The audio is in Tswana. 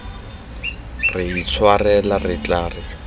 re itshwarela re tla re